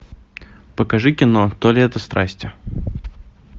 покажи кино то лето страсти